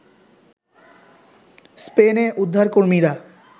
স্পেনে উদ্ধারকর্মীরা